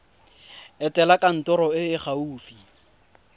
etela kantoro e e gaufi